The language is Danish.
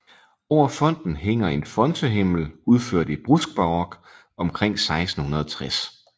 Over fonten hænger en fontehimmel udført i bruskbarok omkring 1660